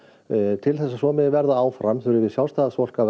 til þess að svo verði áfram þurfum við Sjálfstæðisfólk